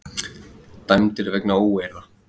Dæmdir vegna óeirða